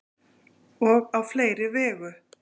Og á fleiri vegu.